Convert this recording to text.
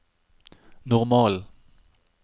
normal